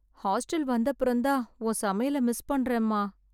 hostel வந்த அப்புறம் தான் உன் சமையல மிஸ் பண்றேன்மா